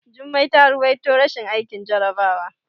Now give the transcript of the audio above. Jummai ta ruwaito rashin aikin jarabawa.